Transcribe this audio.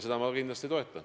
Seda ma kindlasti toetan.